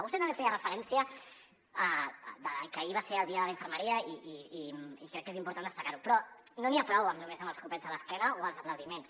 vostè també feia referència que ahir va ser el dia de la infermeria i crec que és important destacar ho però no n’hi ha prou només amb els copets a l’esquena o els aplaudiments